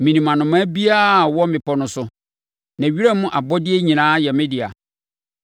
Menim anomaa biara a ɔwɔ mmepɔ no so, na wiram abɔdeɛ nyinaa yɛ me dea.